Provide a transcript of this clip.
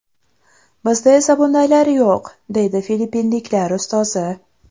Bizda esa bundaylar yo‘q”, deydi filippinliklar ustozi.